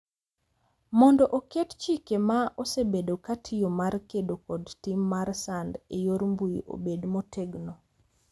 Mondo oket chike ma osebedo ka tiyo mar kedo kod tim mar sand e yor mbui obed motegno.